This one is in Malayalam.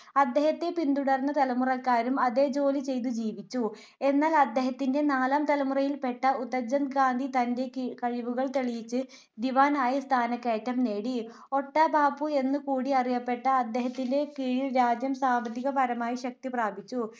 എന്നാൽ അദ്ദേഹത്തിന്റെ നാലാം തലമുറയിൽ പെട്ട ഉത്തംച്ചന്ദ് ഗാന്ധി തന്റെ കഴിവുകൾ തെളിയിച്ച് ദിവാൻ ആയി സ്ഥാനകയറ്റം നേടി. ഒട്ടാ ബാപു എന്നു കൂടി അറിയപെട്ട അദ്ദേഹത്തിന്റെ കീഴിൽ രാജ്യം സാമ്പത്തികപരമായി ശക്തി പ്രാപിച്ചു.